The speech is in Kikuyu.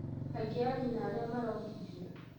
Kaingĩ anyina arĩa marongithia